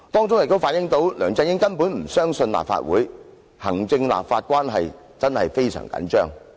這反映出梁振英根本不相信立法會，行政立法關係真的非常緊張。